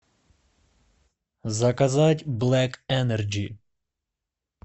заказать блек энерджи